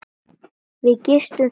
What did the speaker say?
Við gistum þarna eina nótt.